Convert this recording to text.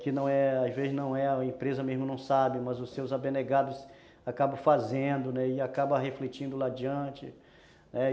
que não é, às vezes não é, a empresa mesmo não sabe, mas os seus abnegados acabam fazendo e acabam refletindo lá adiante, né